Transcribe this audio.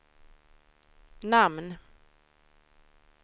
namn